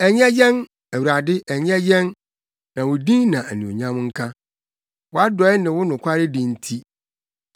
Ɛnyɛ yɛn, Awurade, ɛnyɛ yɛn, na wo din na anuonyam nka, wʼadɔe ne wo nokwaredi nti.